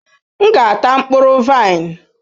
M ga-ata mkpụrụ vaịn.